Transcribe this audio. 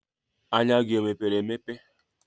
Anya gị o mepere emepe?